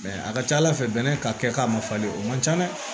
Mɛ a ka ca ala fɛ bɛnɛ ka kɛ k'a ma falen o man ca dɛ